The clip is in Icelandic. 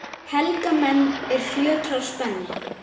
Helga menn, er fjötrar spenna